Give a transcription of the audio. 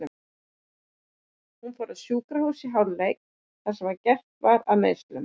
Hún fór á sjúkrahús í hálfleik þar sem gert var að meiðslunum.